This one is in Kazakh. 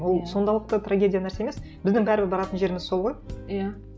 ол трагедия нәрсе емес біздің бәрібір баратын жеріміз сол ғой иә